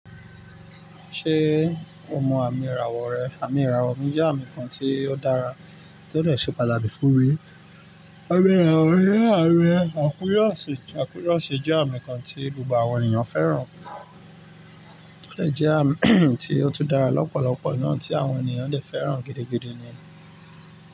Ṣé o mọ àmì ìràwọ̀ rẹ? Àmì ìràwọ̀ mi jẹ́ àmì kan tí ó dára tí ó dè ṣe pàtàkì fún mi. Àmì ìràwọ̀ jẹ́ àmì àkúrọ́osi, o jẹ́ àmì kan tí gbogbo àwọn ènìyàn fẹ́ràn. Ó dè jẹ́ àmì tí ó tún dára lọ́pọ̀lọpọ̀ naà tí àwọn ènìyàn dè fẹ́ràn gidigidi ni.